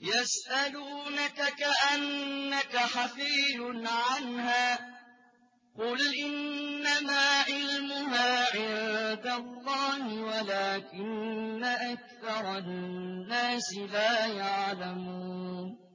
يَسْأَلُونَكَ كَأَنَّكَ حَفِيٌّ عَنْهَا ۖ قُلْ إِنَّمَا عِلْمُهَا عِندَ اللَّهِ وَلَٰكِنَّ أَكْثَرَ النَّاسِ لَا يَعْلَمُونَ